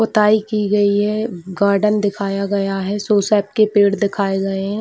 पोताई की गई है गार्डन दिखाया गया है सोसाप के पेड़ दिखाए गए है।